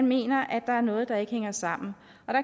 mener at der er noget der ikke hænger sammen